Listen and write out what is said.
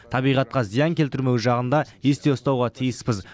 табиғатқа зиян келтірмеу жағын да есте ұстауға тиіспіз